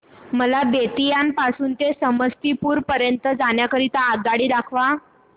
मला बेत्तीयाह पासून ते समस्तीपुर पर्यंत जाण्या करीता आगगाडी दाखवा